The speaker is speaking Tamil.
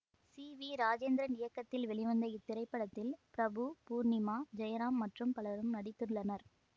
சி வி ராஜேந்திரன் இயக்கத்தில் வெளிவந்த இத்திரைப்படத்தில் பிரபு பூர்ணிமா ஜெயராம் மற்றும் பலரும் நடித்துள்ளனர்